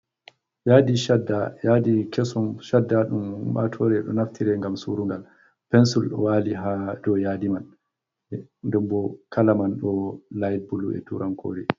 Yadi shada, yadi kesum shadda ɗum ummatore ɗo naftire ngam surugal, pensil ɗo wali ha dou yadi man, den bo kala man ɗo laiht bulu e turan kore.